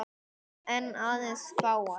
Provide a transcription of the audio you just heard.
En aðeins fáar.